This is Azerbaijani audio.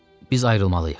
Biz ayrılmalıyıq.